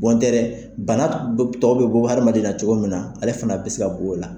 Bɔntɛ dɛ bana tɔw bɛ bɔ hadamaden na cogo min na, ale fana bɛ se ka bɔ o la.